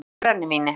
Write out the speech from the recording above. Fólk í brennivíni